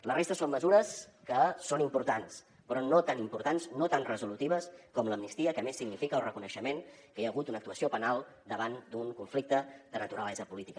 la resta són mesures que són importants però no tan importants no tan resolutives com l’amnistia que a més significa el reconeixement que hi ha hagut una actuació penal davant d’un conflicte de naturalesa política